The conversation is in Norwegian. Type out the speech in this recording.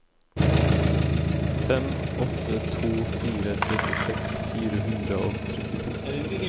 fem åtte to fire trettiseks fire hundre og trettito